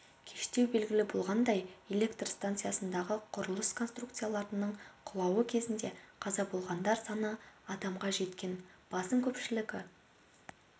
кештеу белгілі болғандай электр станциядағы құрылыс конструкцияларының құлауы кезінде қаза болғандар саны адамға жеткен басым көпшілігі